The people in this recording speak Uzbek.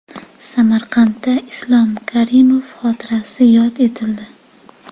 Samarqandda Islom Karimov xotirasi yod etildi .